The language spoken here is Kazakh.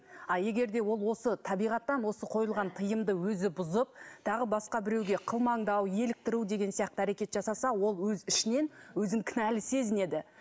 ал егер де ол осы табиғаттан осы қойылған тыйымды өзі бұзып тағы басқа біреуге қылмыңдау еліктіру деген әрекет жасаса ол өз ішінен өзін кінәлі сезінеді